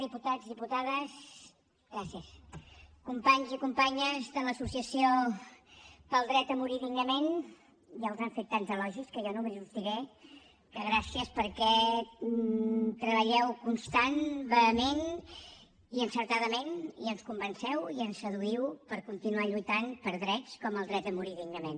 diputats diputades gràcies companys i companyes de l’associació pel dret a morir dignament ja us han fet tants elogis que jo només us diré que gràcies perquè treballeu constantment vehementment i encertadament i ens convenceu i ens seduïu per continuar lluitant per drets com el dret a morir dignament